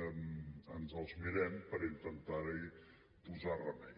ens els mirem per intentar hi posar remei